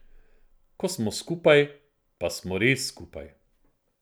Ko smo skupaj, pa smo res skupaj.